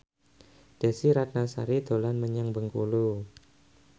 Desy Ratnasari dolan menyang Bengkulu